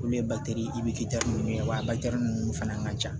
Olu ye nunnu ye wa nunnu fana ka ca